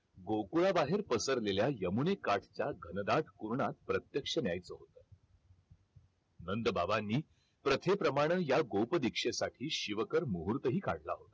गोकुळा बाहेर पसरलेल्या यमुनेकाठच्या घनदाट कुर्णात प्रत्यक्ष न्यायच नंद बाबांनी प्रथे प्रमाणे या गोपकर दीक्षेसाठी शिवकर मुहूर्त ही काढला होता